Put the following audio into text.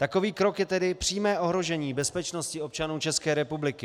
Takový krok je tedy přímé ohrožení bezpečnosti občanů České republiky.